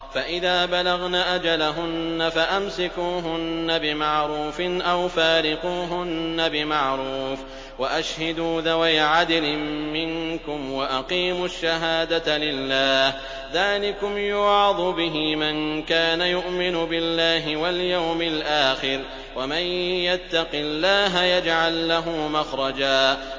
فَإِذَا بَلَغْنَ أَجَلَهُنَّ فَأَمْسِكُوهُنَّ بِمَعْرُوفٍ أَوْ فَارِقُوهُنَّ بِمَعْرُوفٍ وَأَشْهِدُوا ذَوَيْ عَدْلٍ مِّنكُمْ وَأَقِيمُوا الشَّهَادَةَ لِلَّهِ ۚ ذَٰلِكُمْ يُوعَظُ بِهِ مَن كَانَ يُؤْمِنُ بِاللَّهِ وَالْيَوْمِ الْآخِرِ ۚ وَمَن يَتَّقِ اللَّهَ يَجْعَل لَّهُ مَخْرَجًا